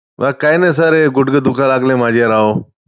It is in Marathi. बाकी काय नाही sir गुडघे दुखायला लागले माझे राव!